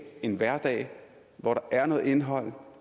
en hverdag hvor der er noget indhold